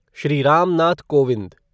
Shri Ram Nath Kovind